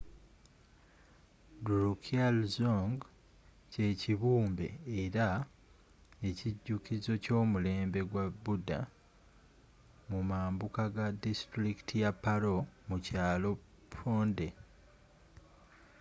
drukgyaldzong kyekibumbe era ekijukizo ky’omulembe gwa buddha mumambuka ga distulikiti ya paro mu kyalo phondey